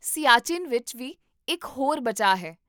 ਸਿਆਚਿਨ ਵਿੱਚ ਵੀ ਇੱਕ ਹੋਰ ਬਚਾਅ ਹੈ